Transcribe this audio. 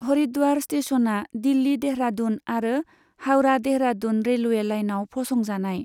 हरिद्वार स्टेसना दिल्ली देहरादून आरो हावड़ा देहरादून रेलवे लाइनाव फसंजानाय।